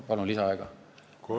Palun lisaaega!